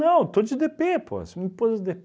estou de dê pê, pô, você me pôs os dê